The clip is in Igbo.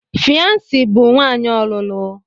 Fiancee bụ nwanyị ọlụlụ.